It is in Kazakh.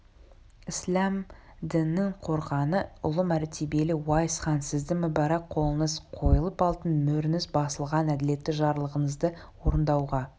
ісләм дінінің қорғаны ұлы мәртебелі уайс хан сіздің мүбәрәк қолыңыз қойылып алтын мөріңіз басылған әділетті жарлығыңызды орындауға